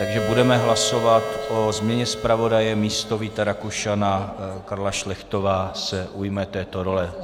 Takže budeme hlasovat o změně zpravodaje, místo Víta Rakušana Karla Šlechtová se ujme této role.